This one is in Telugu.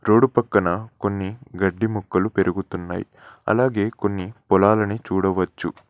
రోడు పక్కన కొన్ని గడ్డి మొక్కలు పెరుగుతున్నయ్ అలాగే కొన్ని పొలాలని చూడవచ్చు.